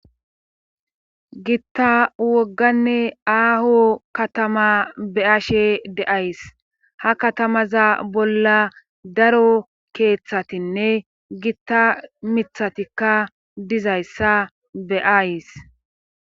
gitta wogganne aaho katama be ashe deays ha katamaza bolla daro keeththatinne gitta mithatikka dizayssa beays